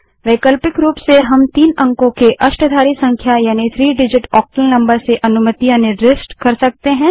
वैकल्पिक रूप से हम तीन अंकों की अष्टाधारी संख्या अर्थात three डिजिट ओक्टल नंबर से अनुमतियाँ निर्दिष्ट कर सकते हैं